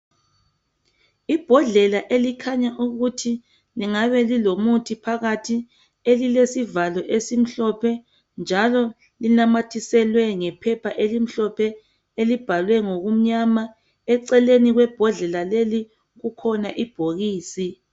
Ibhodlela elikhanya ukuthi lingabe lilomuthi phakathi elilesivalo esimhlophe njalo linamathiselwe ngephepha elimhlophe elibhalwe ngokumnyama. Eceleni kwebhodlela leli kukhona ibhokisi.